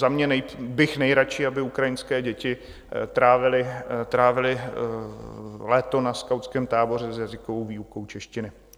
Za mě bych nejraději, aby ukrajinské děti trávily léto na skautském táboře s jazykovou výukou češtiny.